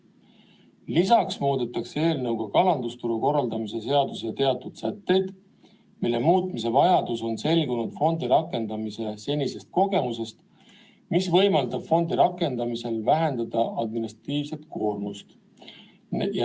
Lisaks muudetakse eelnõuga kalandusturu korraldamise seaduse teatud sätteid, mille muutmise vajadus on selgunud fondi rakendamise senisest kogemusest, mis võimaldab fondi rakendamisel vähendada administratiivset koormust.